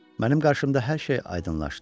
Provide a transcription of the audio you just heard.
Mənim qarşımda hər şey aydınlaşdı.